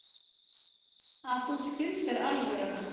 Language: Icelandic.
Að þú skildir alvöruna.